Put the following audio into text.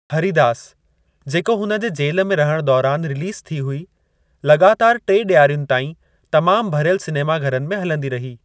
हरिदास, जेको हुन जे जेल में रहणु दौरान रिलीज़ थी हुई, लॻातारि टे डि॒यारियुनि ताईं तमाम भरियलु सिनेमा-घरनि में हलंदी रही।